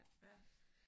Ja